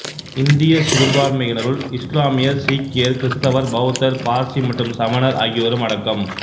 இந்திய சிறுபான்மையினருள் இசுலாமியர் சீக்கியர் கிறித்தவர் பௌத்தர் பார்சி மற்றும் சமணர் ஆகியோரும் அடக்கம்